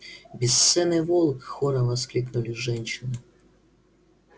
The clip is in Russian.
бесценный волк хором воскликнули женщины